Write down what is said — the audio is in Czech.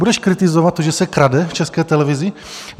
Budeš kritizovat to, že se krade v České televizi?